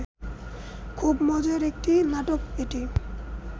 খুব মজার একটি নাটক এটি